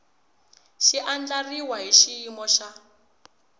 xi andlariwile hi xiyimo xa